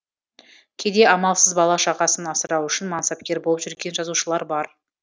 кейде амалсыз бала шағасын асырау үшін мансапкер болып жүрген жазушылар бар